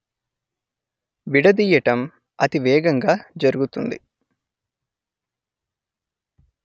విడదీయటం అతివేగంగా జరుగుతుంది